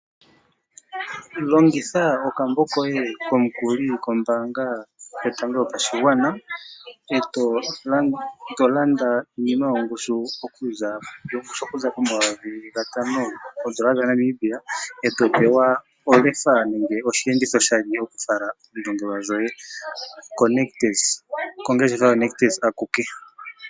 Longitha okambo koye komukuli kombanga yotango yopashingwana oto landa iinima yongushu okuza po 5,000 oondola dhaNamibia oto pewa olefa nenge oshenditho oshali shokufala oondongelwa dhoye ko nictus, kongeshefa yo nictus akuke.